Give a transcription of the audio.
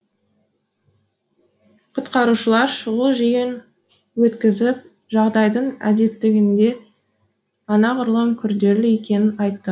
құтқарушылар шұғыл жиын өткізіп жағдайдың әдеттегіден анағұрлым күрделі екенін айтты